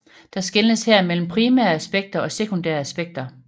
Der skelnes her mellem Primære Aspekter og Sekundære Aspekter